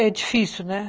É difícil, né?